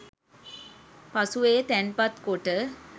පසුව එය තැන්පත් කොට